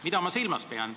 Mida ma silmas pean?